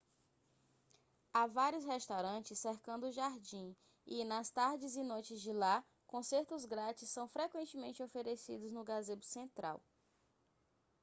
há vários restaurantes cercando o jardim e nas tardes e noites de lá concertos grátis são frequentemente oferecidos no gazebo central